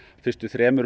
fyrstu